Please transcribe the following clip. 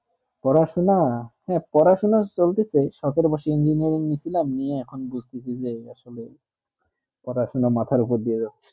পড়াশোনা পড়াশোনা হেঁ পড়াশোনা চলতে চে সত্র বছরে engineering নিলাম বুজতেজে আসলে পড়াশোনা মাথা উপর দিয়ে যাচ্ছে